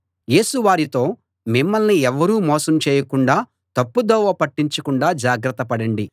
యేసు వారితో మిమ్మల్ని ఎవ్వరూ మోసం చేయకుండా తప్పుదోవ పట్టించకుండా జాగ్రత పడండి